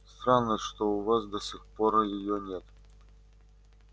странно что у вас до сих пор её нет